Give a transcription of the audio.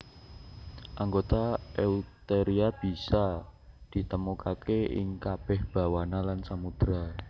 Anggota Eutheria bisa ditemokaké ing kabèh bawana lan samudra